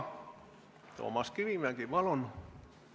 Toomas Kivimägi, palun!